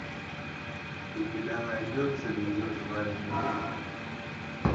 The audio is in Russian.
у тебя найдется ее звали никита